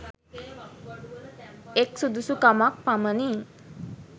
එක් සුදුසුකමක් පමණි